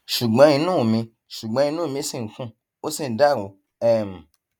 ṣùgbọn inú mi ṣùgbọn inú mi ṣì ń kùn ó sì ń dàrú um